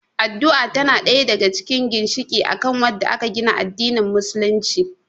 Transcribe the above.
Addu'a tana ɗaya daga cikin ginshiƙi akan wadda aka gina addanin musulunci